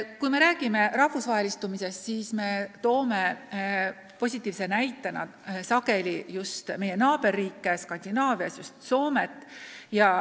Kui me räägime rahvusvahelistumisest, siis toome positiivseks näiteks sageli just meie lähiriike Skandinaavias, samuti Soomet.